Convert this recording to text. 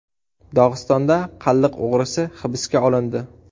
Dog‘istonda qalliq o‘g‘risi hibsga olindi.